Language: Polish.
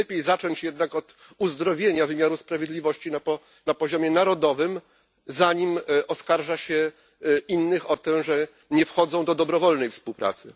Czy nie lepiej zacząć jednak od uzdrowienia wymiaru sprawiedliwości na poziomie narodowym, zanim oskarży się innych o to, że nie wchodzą do dobrowolnej współpracy?